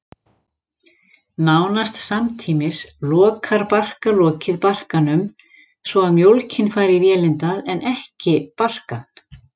Nánast samtímis lokar barkalokið barkanum, svo að mjólkin fari í vélindað en ekki barkann.